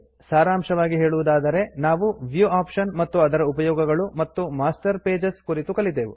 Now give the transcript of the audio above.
ಸಾರಾಂಶವಾಗಿ ಹೇಳುವುದಾದರೆ ನಾವು view option ಮತ್ತು ಅದರ ಉಪಯೋಗಗಳು ಮತ್ತು ಮಾಸ್ಟರ್ ಪೇಜಸ್ ಕುರಿತು ಕಲಿತೆವು